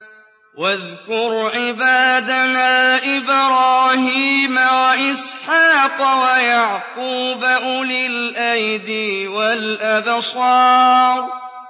وَاذْكُرْ عِبَادَنَا إِبْرَاهِيمَ وَإِسْحَاقَ وَيَعْقُوبَ أُولِي الْأَيْدِي وَالْأَبْصَارِ